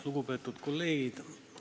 Lugupeetud kolleegid!